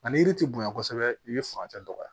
A ni yiri ti bonya kosɛbɛ i be furancɛ dɔgɔya